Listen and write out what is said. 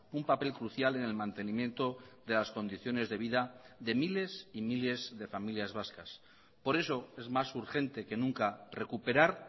un papel crucial en el mantenimiento de las condiciones de vida de miles y miles de familias vascas por eso es más urgente que nunca recuperar